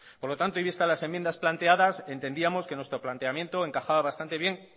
por lo tanto y vistas las enmiendas planteadas entendíamos que nuestro planteamiento encajaba bastante bien